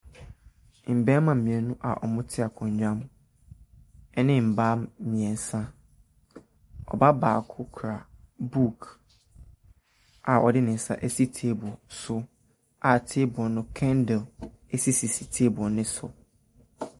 Mmarima mmienu a wɔte akonnwa ho ne mmaa mmiɛnsa. Ɔbaa baako kura kura book a ɔde ne nsa ɛsi table so. A tablee no kendle esisi table no so.